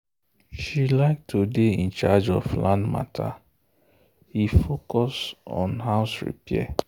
she like to dey in charge of land matter he focus on house repair.